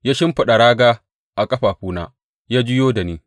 Ya shimfiɗa raga a ƙafafuna ya juyo da ni.